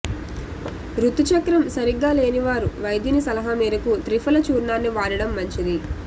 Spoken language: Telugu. ఋతుచక్రం సరిగ్గా లేనివారు వైద్యుని సలహామేరకు త్రిఫల చూర్ణాన్ని వాడడం మంచిది